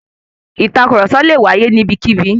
Ìtàkurọ̀sọ lè wáyé ní ibikíbi.